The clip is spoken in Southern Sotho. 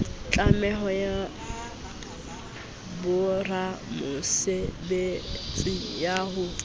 tlameho ya boramosebetsi ya ho